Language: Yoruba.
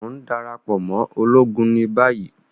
O n darapọ mọ ologun ni bayi!